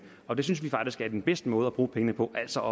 og det synes vi faktisk er den bedste måde at bruge pengene på altså